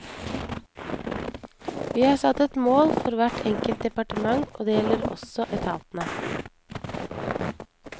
Vi har satt et mål for hvert enkelt departement, og det gjelder også etatene.